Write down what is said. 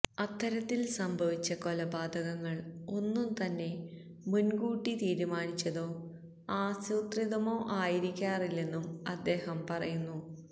അത്തരത്തില് സംഭവിച്ച കൊലപാതകങ്ങള് ഒന്നും തന്നെ മുന്കൂട്ടി തീരുമാനിച്ചതോ ആസൂത്രിതമോ ആയിരിക്കാറില്ലെന്നും അദ്ദേഹം പറയുന്നു